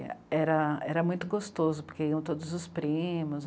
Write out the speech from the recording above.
Era, era muito gostoso, porque iam todos os primos.